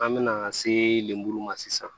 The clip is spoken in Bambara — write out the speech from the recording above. An bɛ na se lemuru ma sisan